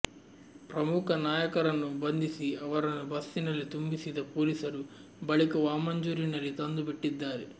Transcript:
ಪ್ರಮುಖ ನಾಯಕರನ್ನು ಬಂಧಿಸಿ ಅವರನ್ನು ಬಸ್ಸಿನಲ್ಲಿ ತುಂಬಿಸಿದ ಪೊಲೀಸರು ಬಳಿಕ ವಾಮಂಜೂರಿನಲ್ಲಿ ತಂದು ಬಿಟ್ಟಿದ್ದಾರೆ